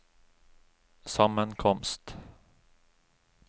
sammenkomst